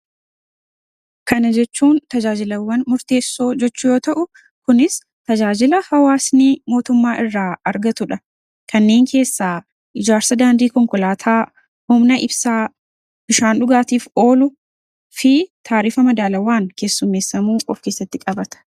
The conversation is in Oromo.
Kana jechuun tajaajilawwan murteessoo jechuu yoo ta'u, kunis tajaajila hawaasni mootummaa irraa argatu dha. Kanneen keessaa ijaarsa daandii konkolaataa, humna ibsaa, bishaan dhugaatiif oolu fi taarifa madaalawaan keessummeessamuu of keessatti qabata.